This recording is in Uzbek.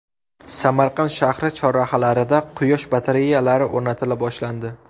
Samarqand shahri chorrahalarida quyosh batareyalari o‘rnatila boshlandi.